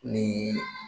Ni